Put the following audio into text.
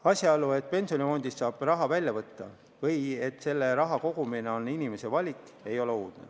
Asjaolu, et pensionifondist saab raha välja võtta või et selle raha kogumine on inimese valik, ei ole uudne.